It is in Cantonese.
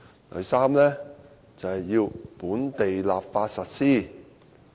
第三步，本地立法實施。